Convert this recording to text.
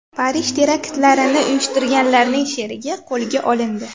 Parij teraktlarini uyushtirganlarning sherigi qo‘lga olindi.